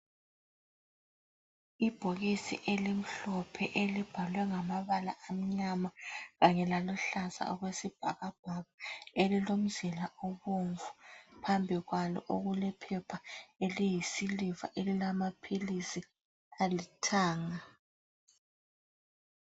Ibhokisi elimhlophe elibhalwe ngamabala amnyama kanye laluhlaza okwesibhakabhaka elilomzila obomvu phambi kwalo okulephepha eliyisiliva elilamaphilisi alithanga